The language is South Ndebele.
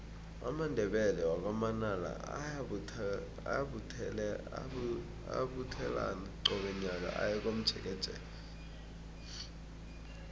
amandebele wakwa manala ayabuthelana qobe nyaka aye komjekejeke